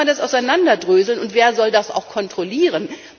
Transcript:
Wie soll man das auseinanderdröseln, und wer soll das auch kontrollieren?